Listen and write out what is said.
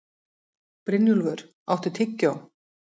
Brynjúlfur, áttu tyggjó?